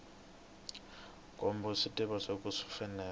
kombisa vutivi byo kahle swinene